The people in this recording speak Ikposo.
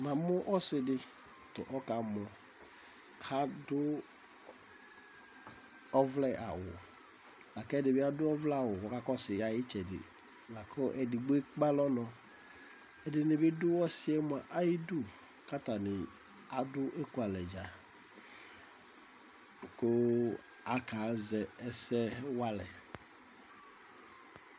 amu ɔsidi kuɔkamo ɑdụ ɔvle ɑwu ku ɔkamo laku ɛdibi aduɔvle kɔ kakɔṣʊ ɑƴʊti ɛɖikpo ɛkpɛɑlo nɔ ɛdinibidu ɑĩɖω ɑɖu ɛkualédja kʊ ɑkaẓeséwale